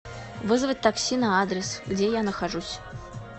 вызвать такси на адрес где я нахожусь